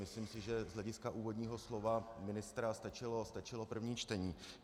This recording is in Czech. Myslím si, že z hlediska úvodního slova ministra stačilo první čtení.